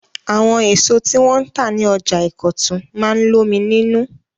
Àwọn èso tí wọn tà ní ọjà Ìkọ̀tún máa ń lómi nínú.